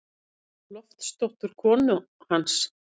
Loftsdóttur, konu hans.